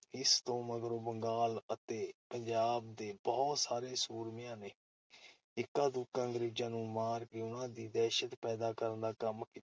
ਇਸ ਤੋਂ ਮਗਰੋਂ ਬੰਗਾਲ ਤੇ ਪੰਜਾਬ ਦੇ ਬਹੁਤ ਸਾਰੇ ਸੂਰਮਿਆਂ ਨੇ ਇੱਕਾਦੁੱਕਾ ਅੰਗਰੇਜ਼ਾਂ ਨੂੰ ਮਾਰ ਕੇ ਉਨ੍ਹਾਂ ਵਿਚ ਦਹਿਸ਼ਤ ਪੈਦਾ ਕਰਨ ਦਾ ਕੰਮ ਕੀਤਾ ।